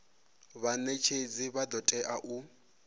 vhanetshedzi vha do tea u